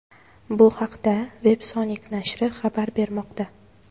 Bu haqda Websonic nashri xabar bermoqda .